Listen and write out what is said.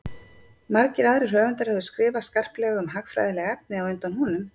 Margir aðrir höfundar höfðu skrifað skarplega um hagfræðileg efni á undan honum.